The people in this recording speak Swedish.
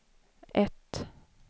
ett